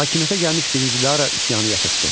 Hakimiyyətə gəlmiş birinci Dara üsyanı yatırtdı.